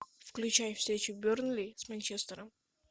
включай встречу бернли с манчестером